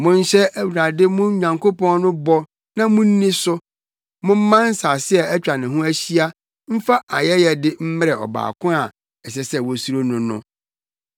Monhyɛ Awurade mo Nyankopɔn no bɔ na munni so; momma nsase a atwa ne ho ahyia mfa ayɛyɛde mmrɛ Ɔbaako a ɛsɛ sɛ wosuro no no.